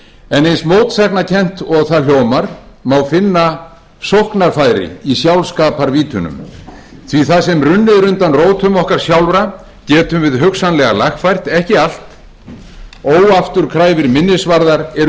en eins mótsagnakennt og það hljómar má finna sóknarfæri í sjálfskaparvítunum því að það sem runnið er undan rótum okkar sjálfra getum við hugsanlega lagfært ekki allt óafturkræfir minnisvarðar eru